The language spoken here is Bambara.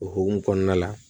O hukumu kɔnɔna la